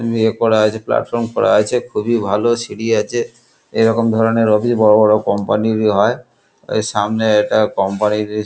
Way করা আছে platform করা আছে খুবই ভালো সিঁড়ি আছে এরকম ধরণের অফিস বড় বড় কোম্পানির এ হয়। সামনে একটা কোম্পানি ইর ।